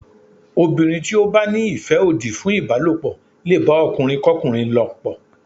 Obìnrin tí ó bá ní ìfẹ́ òdì fún ìbálòpọ̀ lè bá ọkùnrin kọ́kùnrin lòpọ̀.